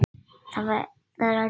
Það er eldhús.